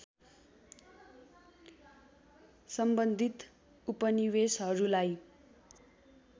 सम्बन्धित उपनिवेसहरूलाई